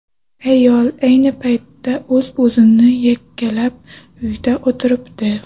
Ayol ayni paytda o‘zini o‘zi yakkalab, uyda o‘tiribdi.